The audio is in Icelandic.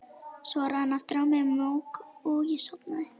Svo rann aftur á mig mók og ég sofnaði.